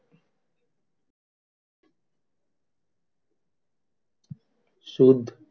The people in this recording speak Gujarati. સુદ,